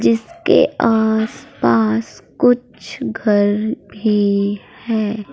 इसके आस पास कुछ घर भी है।